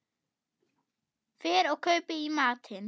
Fer og kaupi í matinn.